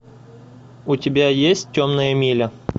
у тебя есть темная миля